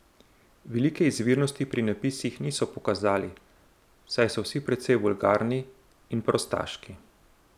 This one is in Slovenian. Velike izvirnosti pri napisih niso pokazali, saj so vsi precej vulgarni in prostaški.